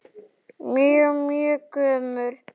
Mjög, mjög gömul.